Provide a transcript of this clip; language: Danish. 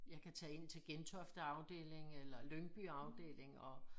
Jeg kan tage in til Gentofte afdelingenen eller Lyngby afdeling og